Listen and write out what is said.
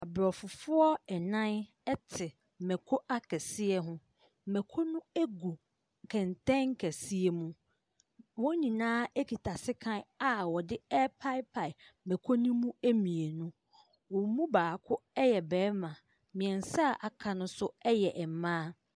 Abrɔfofoɔ ɛnan ete mɛko akɛseɛ ho. Mɛko no egu kɛntɛn kɛseɛ mu. Wɔn nyinaa ɛkita sekan a wɔde ɛpaepae mɛko no mu ɛmmienu. Wɔn mu baako ɛyɛ bɛɛma. Mmiɛnsa a aka no nso ɛyɛ mmaa.